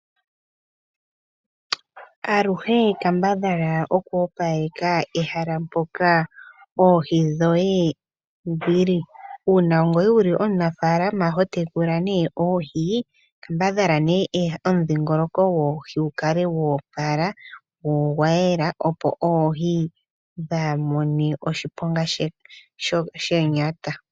Aluhee kambadhalaa okwoopaleka ehala mpokaa oohi dhoye dhili, uuna ngoye wuli omunafaalama hotekula nee oohi. Kambadhala nee omudhingoloko goohi gukale gwoopala gwo ogwayela, opo oohi dhaamone oshiponga shonyata.